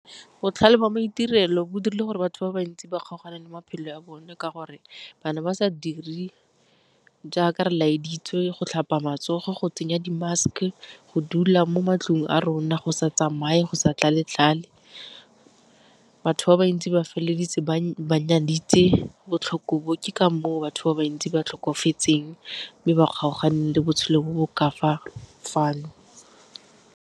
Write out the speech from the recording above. Botlhale jwa maitirelo bo dirile gore batho ba bantsi ba kgaogane le maphelo a bone ka gore ba ne ba sa dire jaaka re laeditswe go tlhapa matsogo, go tsenya di-mask, go dula mo matlong a rona, go sa tsamaye, go sa tlale-tlale. Batho ba bantsi ba feleleditse ba nyaditse botlhoko bo ke ka moo batho ba bantsi ba tlhokofetseng, mme ba kgaoganeng le botshelo bo bo ka fano.